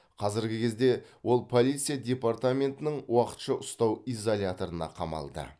қазіргі кезде ол полиция департаментінің уақытша ұстау изоляторына қамалды